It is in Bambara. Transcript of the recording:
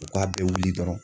U k'a bɛɛ wuli dɔrɔnw